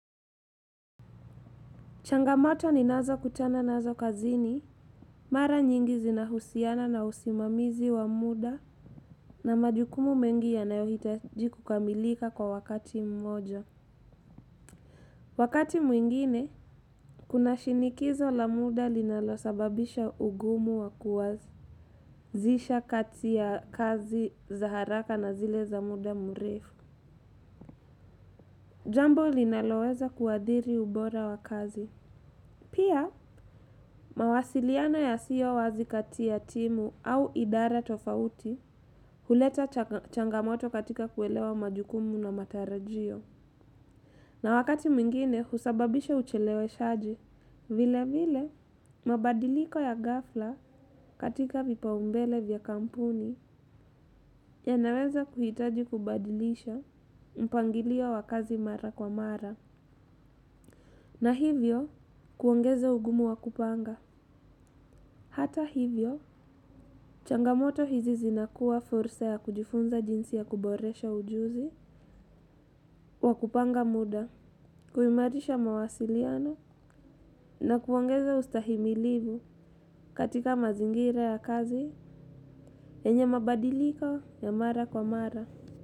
Changamoto ninazo kutana nazo kazini, mara nyingi zinahusiana na usimamizi wa muda na majukumu mengi yanayo hitaji kukamilika kwa wakati mmoja. Wakati mwingine, kuna shinikizo la muda linalosababisha ugumu wa kuwazisha kati ya kazi za haraka na zile za muda mrefu. Jambo linaloweza kuadhiri ubora wa kazi. Pia, mawasiliano ya siyo wazi kati ya timu au idara tofauti huleta changamoto katika kuelewa majukumu na matarajio. Na wakati mwingine husababisha ucheleweshaji, vile vile mabadiliko ya ghafla katika vipaumbele vya kampuni, yanaweza kuhitaji kubadilishwa mpangilio wa kazi mara kwa mara. Na hivyo, kuongeza ugumu wakupanga. Hata hivyo, changamoto hizi zinakuwa fursa ya kujifunza jinsi ya kuboresha ujuzi wakupanga muda, kuimarisha mawasiliano na kuongeza ustahimilivu katika mazingira ya kazi yenye mabadiliko ya mara kwa mara.